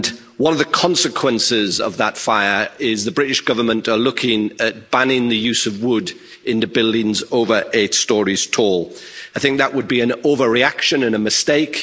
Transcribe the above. One of the consequences of that fire is that the British Government is looking at banning the use of wood in buildings over eight storeys tall. I think that would be an overreaction and a mistake.